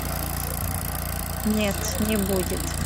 нет не будет